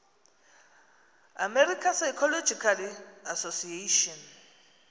american psychological association